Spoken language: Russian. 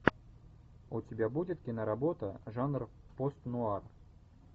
у тебя будет киноработа жанр пост нуар